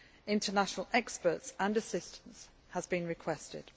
International experts and assistance have been requested.